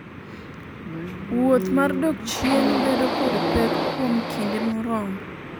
wuoth mar dok chien bedo kod pek kuom kinde moromo